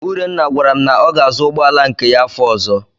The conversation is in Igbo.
Urenna gwara m na ọ ga-azụ ụgbọala nke ya afọ ọ̀zọ́.